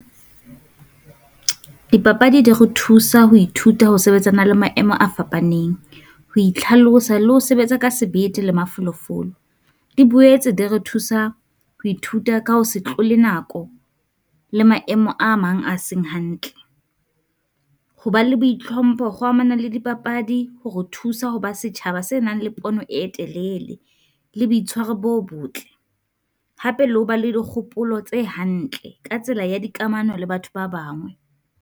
Dipapadi di re thusa ho ithuta ho sebetsana le maemo a fapaneng, ho itlhalosa le ho sebetsa ka sebete le mafolofolo. Di boetse di re thusa ho ithuta ka ho se tlole nako, le maemo a mang a seng hantle, ho ba le boitlhompho kgo amana le dipapadi ho kgo thusa ho ba setjhaba se nang le pono e telele. Le boitshwaro bo botle hape le ho ba le di kgopolo tse hantle ka tsela ya dikamano le batho ba bangwe.